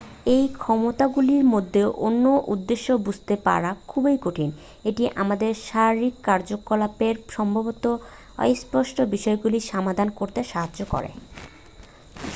এই ক্ষমতাগুলির মধ্যে অন্যের উদ্দেশ্য বুঝতে পারা খুব কঠিন। এটি আমাদের শারীরিক কার্যকলাপের সম্ভাব্য অস্পষ্ট বিষয়গুলি সমাধান করতে সাহায্য করে।